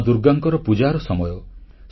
ମା ଦୁର୍ଗାଙ୍କର ପୂଜାର ସମୟ